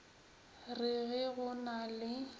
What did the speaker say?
re ge go na le